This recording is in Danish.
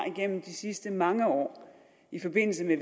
igennem de sidste mange år i forbindelse med